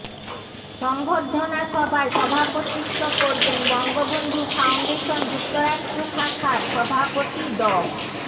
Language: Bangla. সর্ম্বধনা সভায় সভাপতিত্ব করবেন বঙ্গবন্ধু ফাউন্ডেশন যুক্তরাষ্ট্র শাখার সভাপতি ড